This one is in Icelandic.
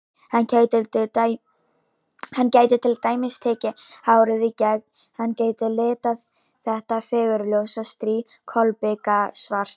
Hann gæti til dæmis tekið hárið í gegn, hann gæti litað þetta fagurljósa strý kolbikasvart.